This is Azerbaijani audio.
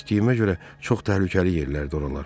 Eşitdiyimə görə çox təhlükəli yerlərdir oralar.